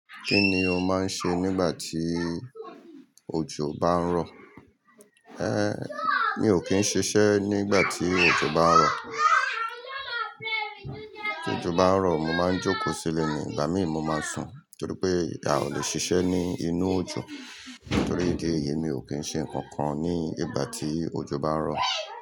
Kí ni o máa ń ṣe nígbà tí ojò bá ń rọ̀? É mi ò kí ń ṣiṣẹ́ nígbà tí ojò bá ń rọ̀. Ti ojò bá rọ̀, mo máa ń jókòó sílè ni, ìgbà míì mo máa ń sùn torí pé a ò lè ṣiṣẹ́ ní inú ojò. Nítorí gé yìí mi ò kí ń ṣe nǹkan kan ní ìgbà tí ojò bá ń rọ̀